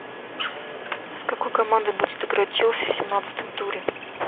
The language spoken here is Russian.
с какой командой будет играть челси в семнадцатом туре